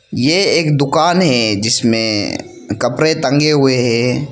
ये एक दुकान है जिसमें कपड़े टंगे हुए हैं।